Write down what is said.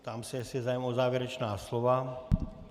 Ptám se, jestli je zájem o závěrečná slova.